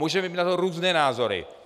Můžeme mít na to různé názory.